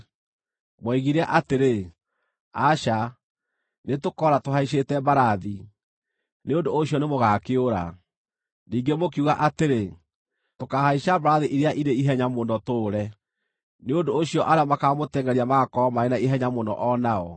Mwoigire atĩrĩ, ‘Aca, nĩtũkoora tũhaicĩte mbarathi.’ Nĩ ũndũ ũcio nĩmũgakĩũra! Ningĩ mũkiuga atĩrĩ, ‘Tũkaahaica mbarathi iria irĩ ihenya mũno tũũre!’ Nĩ ũndũ ũcio arĩa makaamũtengʼeria magaakorwo marĩ na ihenya mũno o nao!